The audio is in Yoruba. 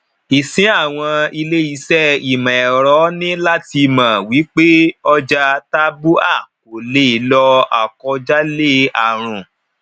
ìsìn àwọn ilé ìṣe imọ ẹrọ ní láti mọ wí pé ọjà tabua kò lè lọ akọ jalè àrùn